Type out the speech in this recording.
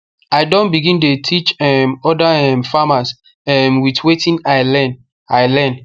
i don begin dey teach um other um farmers um with wetin i learn i learn